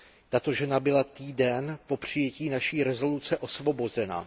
Tato žena byla týden po přijetí naší rezoluce osvobozena.